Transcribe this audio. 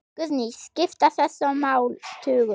Guðný: Skipta þessi mál tugum?